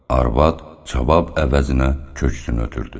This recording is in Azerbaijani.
Arvad cavab əvəzinə köksünü ötürdü.